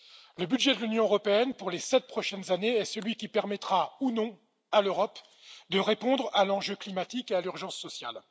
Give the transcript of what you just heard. Le budget de l'Union européenne pour les sept prochaines années est celui qui permettra ou non à l'Europe de répondre à l'enjeu climatique et à l'urgence sociale.